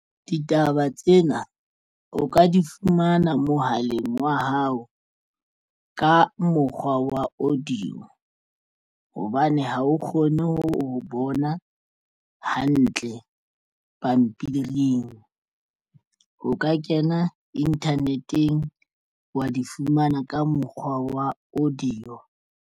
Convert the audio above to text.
Ditaba tsena o ka di fumana mohaleng wa hao ka mokgwa wa audio hobane ha o kgone ho bona hantle pampiring. O ka kena internet-eng wa di fumana ka mokgwa wa audio.